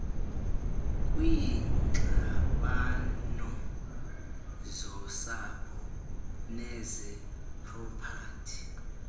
kwiingxabano zosapho nezepropati